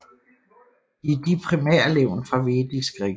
De er de primære levn fra Vedisk religion